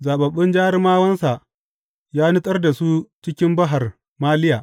Zaɓaɓɓun jarumawansa ya nutsar da su cikin Bahar Maliya.